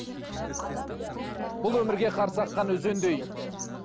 бұл өмірге қарсы аққан өзендей